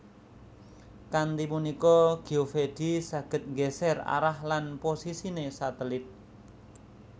Kanthi punika Geovedi saged nggeser arah lan posisine satelit